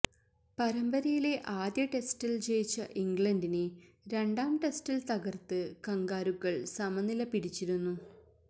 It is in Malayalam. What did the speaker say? പരമ്പരയിലെ ആദ്യ ടെസ്റ്റിൽ ജയിച്ച ഇംഗ്ലണ്ടിനെ രണ്ടാം ടെസ്റ്റിൽ തകർത്ത് കംഗാരുക്കൾ സമനില പിടിച്ചിരുന്നു